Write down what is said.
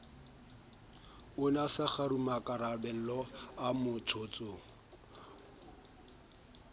ne a sa kgarumemmakarabelo motsotsong